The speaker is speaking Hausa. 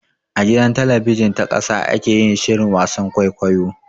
A gidan talabijin ta ƙasa ake yin shirin wasan kwaikwayon.